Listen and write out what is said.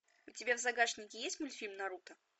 у тебя в загашнике есть мультфильм наруто